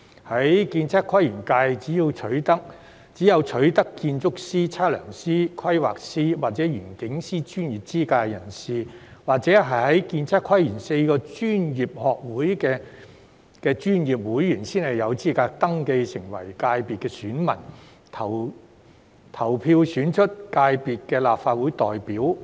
在建測規園界，只有取得建築師、測量師、規劃師或園境師專業資格的人士，或者是建測規園4個專業學會的專業會員，才有資格登記成為界別選民，投票選出界別的立法會代表。